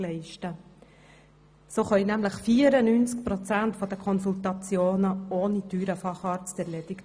Sie können nämlich 94 Prozent der Konsultationen ohne teure Fachärzte erledigen.